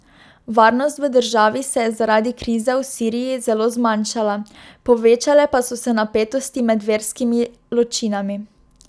Varnost v državi se je zaradi krize v Siriji zelo zmanjšala, povečale pa so se napetosti med verskimi ločinami.